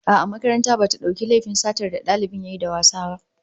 A'a, makaranta bata dauki laifin satar da dalibin yayi da wasa ba